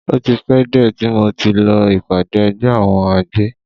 O ti pẹ́ díẹ̀ tí mo ti lọ ìpàdé ẹgbẹ́ àwọn àgbẹ̀.